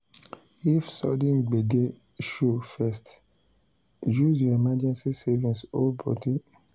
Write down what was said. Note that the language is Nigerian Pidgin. if sudden gbege show first use your emergency savings hold body.